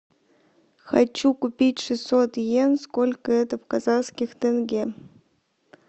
хочу купить шестьсот иен сколько это в казахских тенге